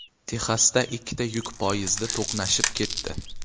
Texasda ikkita yuk poyezdi to‘qnashib ketdi.